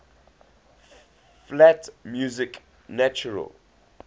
flat music natural